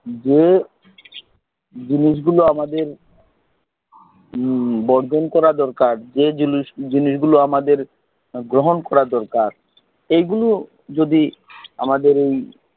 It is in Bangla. যে জিনিস গুলো আমাদের বর্জন করা দরকার যে জিনিসটি জিনিসগুলো আমাদের গ্রহণ করা দরকার এইগুলো যদি আমাদের এই